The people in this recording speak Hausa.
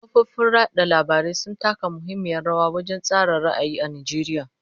Kafofin yada labarai sun taka muhimmiyar rawa wajen tsara ra'ayi a Najeriya.